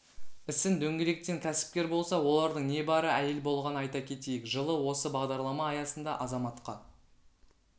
ісін дөңгелеткен кәсіпкер болса олардың небары әйел болған айта кетейік жылы осы бағдарлама аясында азаматқа